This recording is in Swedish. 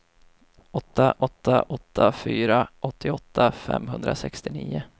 åtta åtta åtta fyra åttioåtta femhundrasextionio